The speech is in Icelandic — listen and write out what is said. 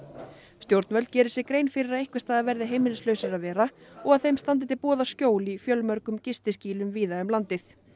stjórnvöld geri sér grein fyrir að einhvers staðar verði heimilislausir að vera og að þeim standi til boða skjól í fjölmörgum víða um landið